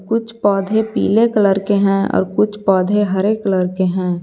कुछ पौधे पीले कलर के हैं और कुछ पौधे हरे कलर के हैं।